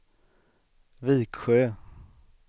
Viksjö